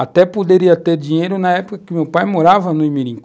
Até poderia ter dinheiro na época que meu pai morava no Imirim.